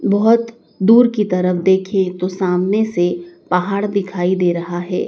बहोत दूर की तरफ देखें तो सामने से पहाड़ दिखाई दे रहा है।